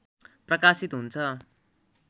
प्रकाशित हुन्छ